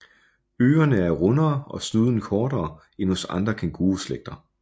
Ørerne er rundere og snuden kortere end hos andre kænguruslægter